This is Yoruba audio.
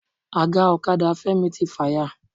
Aga ọ̀kadà Femi ti fàya.